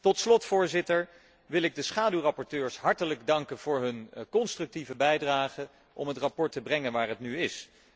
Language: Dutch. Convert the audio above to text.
Tot slot, Voorzitter, wil ik de schaduwrapporteurs hartelijk danken voor hun constructieve bijdrage om het verslag te brengen waar het nu is.